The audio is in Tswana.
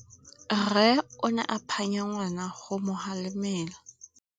Rre o ne a phanya ngwana go mo galemela.